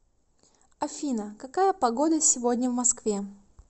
афина какая погода сегодня в москве